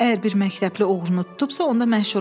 Əgər bir məktəbli oğrunu tutubsa, onda məşhurlaşır,